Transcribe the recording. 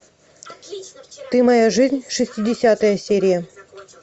ты моя жизнь шестидесятая серия